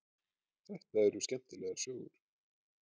Þetta eru skemmtilegar sögur.